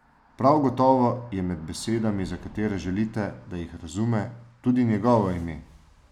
Prav gotovo je med besedami, za katere želite, da jih razume, tudi njegovo ime.